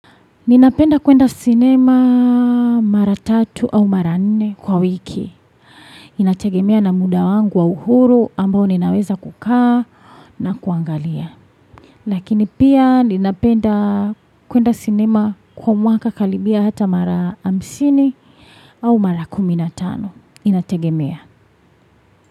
Ninapenda kwenda sinema mara tatu au mara nne kwa wiki. Inategemea na muda wangu wa uhuru ambao ninaweza kukaa na kuangalia. Lakini pia ninapenda kwenda sinema kwa mwaka karibia hata mara hamsini au mara kumi na tano. Inategemea.